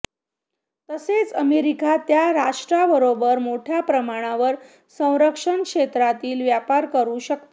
तसेच अमेरिका त्या राष्ट्राबरोबर मोठय़ा प्रमाणावर संरक्षण क्षेत्रातील व्यापार करू शकते